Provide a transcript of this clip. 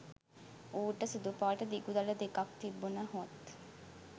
ඌට සුදු පාට දිගු දළ දෙකක් තිබුණහොත්